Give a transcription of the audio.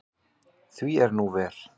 Því er nú ver.